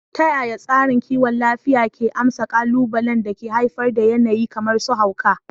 Ta yaya tsarin kiwon lafiya ke amsa ƙalubalen da ke haifar da yanayi kamar su hauka?